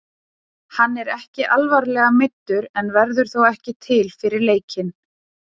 Hann er ekki alvarlega meiddur en verður þó ekki til fyrir leikinn.